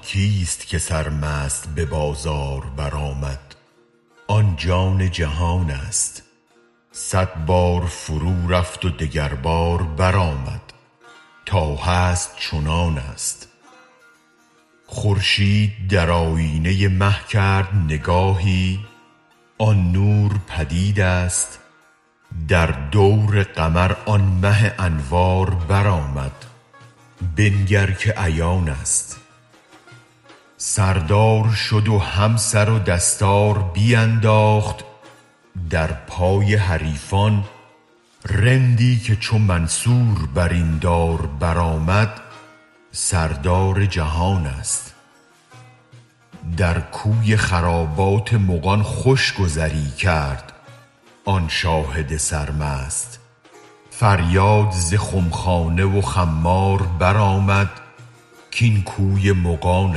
آن کیست که سر مست به بازار بر آمد آن جان جهان است صد بار فرو رفت و دگر بار بر آمد تا هست چنان است خورشید در آیینه مه کرد نگاهی آن نور پدید است در دور قمر آن مه انوار بر آمد بنگر که عیان است سردار شد و هم سر و دستار بینداخت در پای حریفان رندی که چو منصور بر این دار بر آمد سردار جهان است در کوی خرابات مغان خوش گذری کرد آن شاهد سرمست فریاد ز خمخانه و خمار بر آمد کاین کوی مغان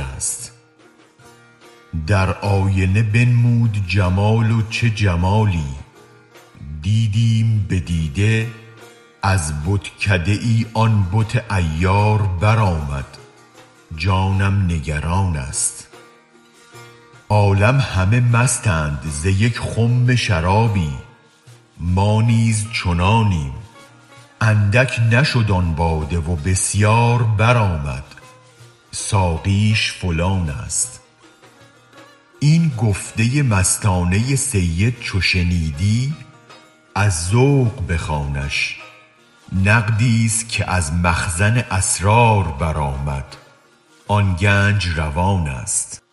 است در آینه بنمود جمال و چه جمالی دیدیم به دیده از بتکده ای آن بت عیار بر آمد جانم نگران است عالم همه مستند ز یک خم شرابی ما نیز چنانیم اندک نشد آن باده و بسیار برآمد ساقیش فلان است این گفته مستانه سید چو شنیدی از ذوق بخوانش نقدی است که از مخزن اسرار برآمد آن گنج روان است